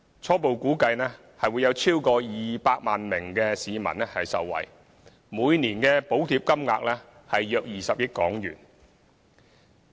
初步估計會有超過200萬名市民受惠，每年的補貼金額約20億元。